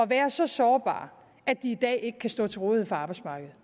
være så sårbar at de i dag ikke kan stå til rådighed for arbejdsmarkedet